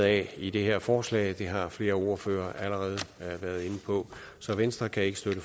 af i det her forslag det har flere ordførere allerede været inde på så venstre kan ikke støtte